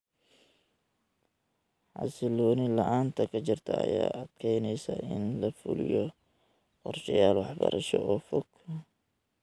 Xasilooni la'aanta ka jirta ayaa adkeynaysa in la fuliyo qorshayaal waxbarasho oo fog.